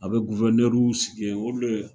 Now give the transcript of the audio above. A bɛ guwɛrnɛriw sigi yen, olu de ye